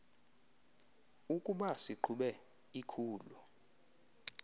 ukuba siqhube ikhulu